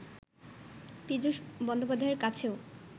পীযূষ বন্দ্যোপাধ্যায়ের কাছেও